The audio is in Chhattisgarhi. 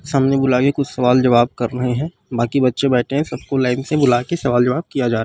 सामने बुलाके कुछ सवाल जवाब कर रहे हे बाकि बच्चे बैठे हे सबको लाइन से बुला के सवाल जवाब किया जा रहा--